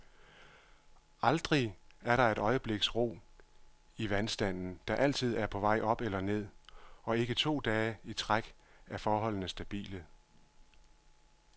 Aldrig er der et øjebliks ro i vandstanden, der altid er på vej op eller ned, og ikke to dage i træk er forholdene stabile.